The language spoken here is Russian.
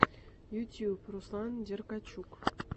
ютюб руслан деркачук